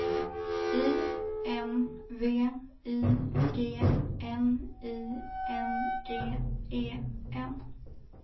I N V I G N I N G E N